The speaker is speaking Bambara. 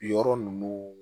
Yɔrɔ ninnu